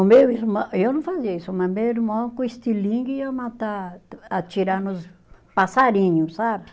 O meu irmão, eu não fazia isso, mas meu irmão com estilingue ia matar, atirar nos passarinhos, sabe?